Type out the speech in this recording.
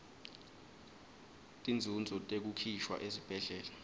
tinzunzo tekukhishwa esibhedlela